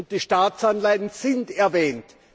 Und die Staatsanleihen sind erwähnt.